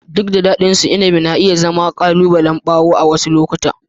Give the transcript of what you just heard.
Duk da daɗinsu, inabi na iya zama ƙalubalen bawo a wasu lokuta.